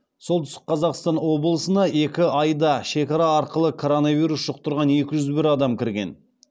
солтүстік қазақстан облысына екі айда шекара арқылы коронавирус жұқтырған екі жүз бір адам кірген